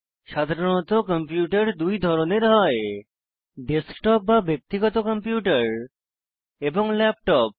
সাধারণত কম্পিউটার 2 ধরনের হয় ডেস্কটপ বা ব্যক্তিগত কম্পিউটার এবং ল্যাপটপ